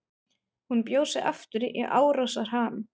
Hún bjó sig aftur í árásarham.